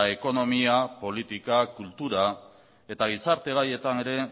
ekonomia politika kultura eta gizarte gaietan ere